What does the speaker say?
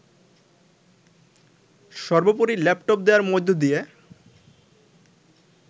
সর্বোপরি ল্যাপটপ দেয়ার মধ্যদিয়ে